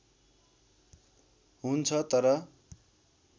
हुन्छ तर